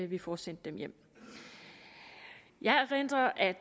vi får sendt dem hjem jeg erindrer at